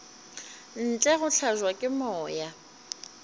ntle go hlabja ke moya